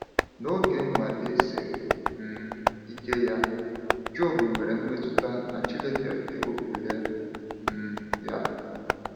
N’oge nnwale siri um ike ya, Jọb nwere mmetụta na Chineke ewepụla um ya.